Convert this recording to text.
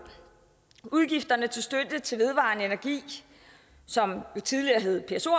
udgifterne til støtte til vedvarende energi som tidligere hed pso